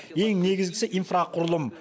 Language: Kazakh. ең негізгісі инфроқұрылым